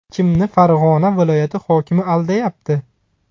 Kimni Farg‘ona viloyati hokimi aldayapti?